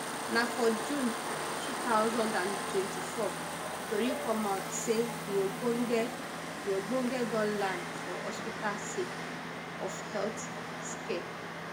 na for june two thousand and twenty-four tori come out say di ogbonge di ogbonge don land for hospital sake of health scare